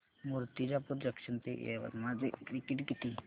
Murtijapur junction ते यवतमाळ चे ticket किती